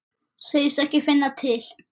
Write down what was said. Segist ekki finna til.